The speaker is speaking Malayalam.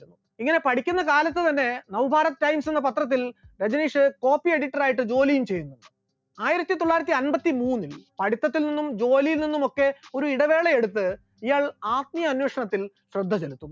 ഇങ്ങനെ പഠിക്കുന്ന കാലത്തുതന്നെ now RA times എന്ന പത്രത്തിൽ രജനീഷ് copy editor യിട്ട് ജോലിയും ചെയ്തു, ആയിരത്തിത്തൊള്ളായിരത്തി അൻപത്തിമൂന്നിൽ പഠിത്തത്തിൽ നിന്നും ജോലിയിൽ നിന്നുമൊക്കെ ഒരു ഇടവേള എടുത്ത് ഇയാൾ ആത്മീയ അന്വേഷണത്തിൽ ശ്രദ്ധചെലുത്തുന്നു.